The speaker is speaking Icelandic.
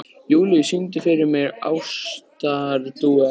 Júlíus, syngdu fyrir mig „Ástardúett“.